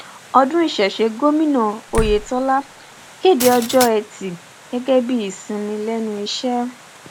ọdún ìṣẹṣe gómìnà oyetọlá kéde ọjọ ẹtí gẹgẹ bíi ìsinmi lẹnu iṣẹ